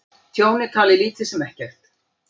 Tjón er talið lítið sem ekkert